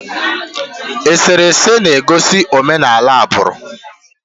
Eserese na-egosi omenala agbụrụ.